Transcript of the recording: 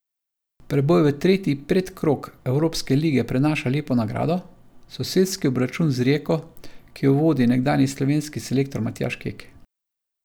Preboj v tretji predkrog Evropske lige prinaša lepo nagrado, sosedski obračun z Rijeko, ki jo vodi nekdanji slovenski selektor Matjaž Kek.